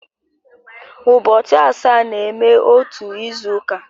Ụbọchị asaa na-eme otu izu uka